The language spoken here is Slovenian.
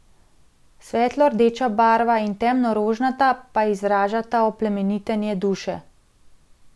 Svetlo rdeča barva in temno rožnata pa izražata oplemenitenje duše.